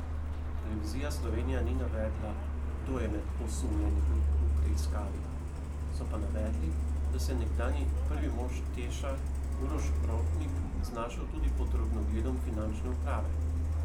Televizija Slovenija ni navedla, kdo je med osumljenimi v preiskavi, so pa navedli, da se je nekdanji prvi mož Teša Uroš Rotnik znašel tudi pod drobnogledom finančne uprave.